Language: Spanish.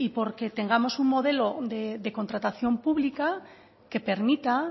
porque tengamos un modelo de contratación pública que permita